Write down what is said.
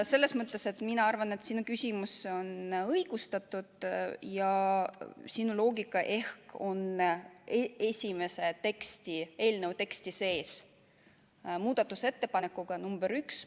Selles mõttes ma arvan, et sinu küsimus on õigustatud ja sinu loogika ehk on eelnõu tekstis sees muudatusettepanekuga number 1.